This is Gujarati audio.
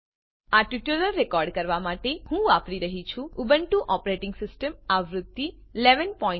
આ ટ્યુટોરીયલને રેકોર્ડ કરવા માટે હું વાપરી રહ્યી છું ઉબુન્ટુ ઓપરેટીંગ સીસ્ટમ આવૃત્તિ 1110